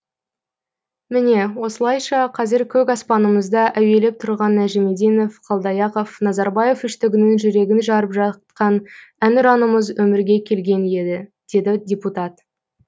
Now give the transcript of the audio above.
міне осылайша қазір көк аспанымызда әуелеп тұрған нәжімеденов қалдаяқов назарбаев үштігінің жүрегін жарып жаққан әнұранымыз өмірге келген еді деді депутат